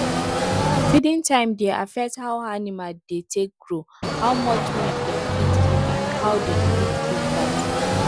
feeding time dey affect how animal dey take grow how much milk dem fit give and how dem fit give birth